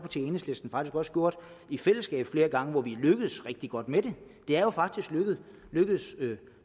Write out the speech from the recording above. enhedslisten faktisk også gjort i fællesskab flere gange hvor vi er lykkedes rigtig godt med det det er jo faktisk lykkedes